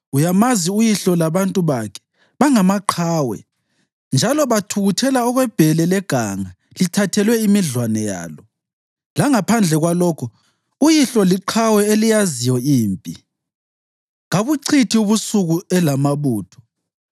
Uyamazi uyihlo labantu bakhe, bangamaqhawe, njalo bathukuthela okwebhele leganga lithathelwe imidlwane yalo. Langaphandle kwalokho, uyihlo liqhawe eliyaziyo impi, kabuchithi ubusuku elamabutho.